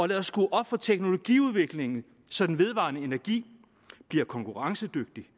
lad os skrue op for teknologiudviklingen så den vedvarende energi bliver konkurrencedygtig